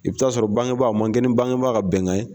I bɛ t'a sɔrɔ bangebaga, a man kɛ ni bangebaga ka bɛnkan ye.